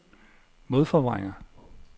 modforvrænger